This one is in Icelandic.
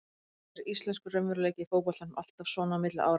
Kannski er íslenskur raunveruleiki í fótboltanum alltaf svona á milli ára.